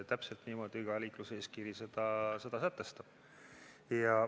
Täpselt niimoodi ka liikluseeskiri seda sätestab.